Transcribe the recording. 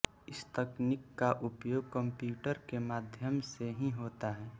इस तकनीक का उपयोग कंप्यूटर के माध्यम से ही होता है